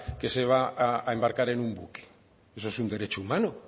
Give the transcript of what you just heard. que se va a embarcar en un buque eso es un derecho humano